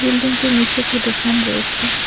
বিল্ডিংটির নীচে একটি দোকান রয়েছে।